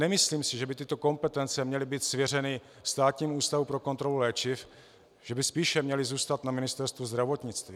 Nemyslím si, že by tyto kompetence měly být svěřeny Státnímu ústavu pro kontrolu léčiv, že by spíše měly zůstat na Ministerstvu zdravotnictví.